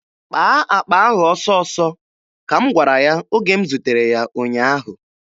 "Kpaa akpa ahụ ọsọọsọ," ka m gwara ya oge m zutere ya ụnyaahụ.